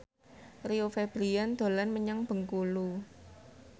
Rio Febrian dolan menyang Bengkulu